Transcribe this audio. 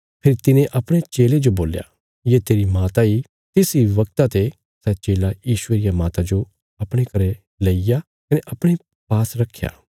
फेरी तिने अपणे चेले जो बोल्या ये तेरी माता इ तिस इ बगता ते सै चेला यीशुये रिया माता जो अपणे घरें लेईग्या कने अपणे पास रक्खया